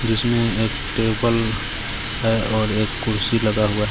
जिसमें एक टेबल है और एक खुर्सी लगा हुआ है.